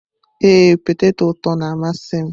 Ee, peteto ụtọ na-amasị m.